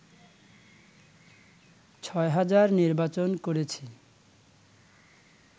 ছয় হাজার নির্বাচন করেছি